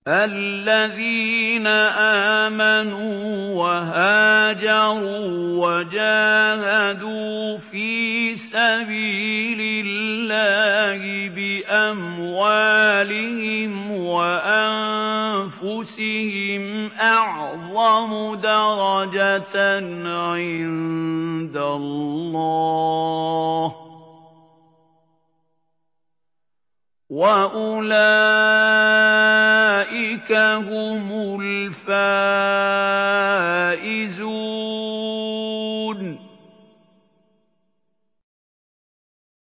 الَّذِينَ آمَنُوا وَهَاجَرُوا وَجَاهَدُوا فِي سَبِيلِ اللَّهِ بِأَمْوَالِهِمْ وَأَنفُسِهِمْ أَعْظَمُ دَرَجَةً عِندَ اللَّهِ ۚ وَأُولَٰئِكَ هُمُ الْفَائِزُونَ